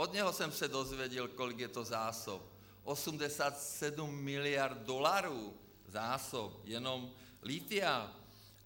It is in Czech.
Od něho jsem se dozvěděl, kolik je to zásob - 87 miliard dolarů zásob jenom lithia.